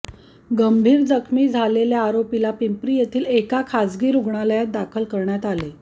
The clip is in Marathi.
गंभीर जखमी झालेल्या आरोपीला पिंपरी येथील एका खासगी रुग्णालयात दाखल करण्यात आले